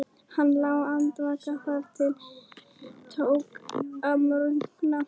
Hann lá andvaka þar til tók að morgna.